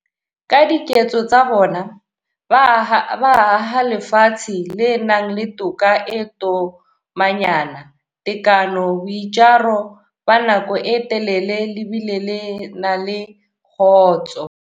Ka diketso tsa bona, ba aha lefatshe le nang le toka e tomanyana, tekano, boitjaro ba nako e telele le bile le na le kgotso.